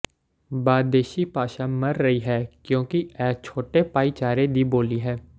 ਬਾਦੇਸ਼ੀ ਭਾਸ਼ਾ ਮਰ ਰਹੀ ਹੈ ਕਿਉਂਕਿ ਇਹ ਛੋਟੇ ਭਾਈਚਾਰੇ ਦੀ ਬੋਲੀ ਹੈ